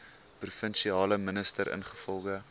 provinsiale minister ingevolge